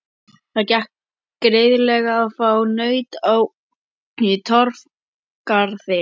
Það gekk greiðlega að fá naut í Torfgarði.